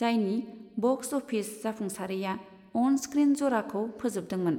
जायनि box office जाफुंसारैया on screen जराखौ फोजोबदोंमोन।